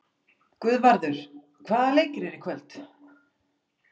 Guðvarður, hvaða leikir eru í kvöld?